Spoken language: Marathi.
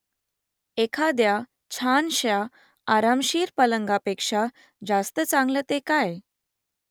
एखाद्या छानश्या आरामशीर पलंगापेक्षा जास्त चांगलं ते काय ?